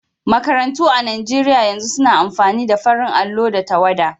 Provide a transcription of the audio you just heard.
Makarantu a Nigeriya yanzu suna amfani da farin allo da tawwada.